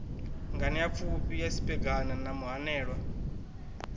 nganeapfufhi ya siphegana na muhanelwa